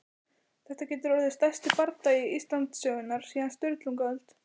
Þetta getur orðið stærsti bardagi Íslandssögunnar síðan á Sturlungaöld!